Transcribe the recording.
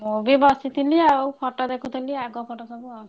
ମୁଁ ବି ବସିଥିଲି ଆଉ photo ଦେଖୁଥିଲି ଆଗ photo ସବୁ ଆଉ।